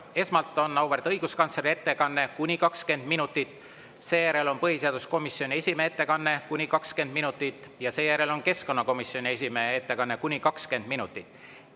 Kõigepealt on auväärt õiguskantsleri ettekanne kuni 20 minutit, seejärel on põhiseaduskomisjoni esimehe ettekanne kuni 20 minutit ja seejärel on keskkonnakomisjoni esimehe ettekanne kuni 20 minutit.